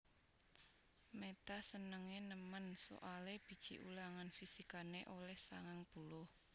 Meta senenge nemen soale biji ulangan fisikane oleh sangang puluh